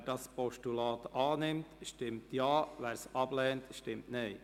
Wer dieses Postulat annimmt, stimmt Ja, wer es ablehnt, stimmt Nein.